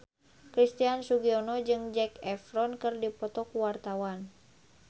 Christian Sugiono jeung Zac Efron keur dipoto ku wartawan